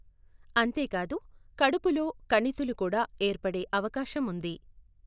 అంతేకాదు, కడుపులో కణితులు కూడా ఏర్పడే అవకాశం ఉంది.